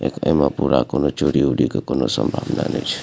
एकरे में पूरा कोनो चोरी-उरी के कोनो संभावना नाय छे।